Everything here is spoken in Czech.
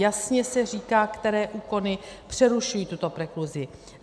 Jasně se říká, které úkony přerušují tuto prekluzi.